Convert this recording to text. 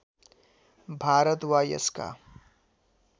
भारत वा यसका